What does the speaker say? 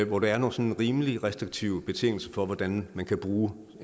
hvor der er nogle sådan rimelig restriktive betingelser for hvordan man kan bruge